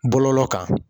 Bɔlɔlɔ kan